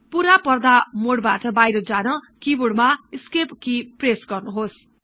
पूरा पर्दा मोडबाट बाहिर जान किबोर्ड मा एस्केप कि प्रेश गर्नुहोस्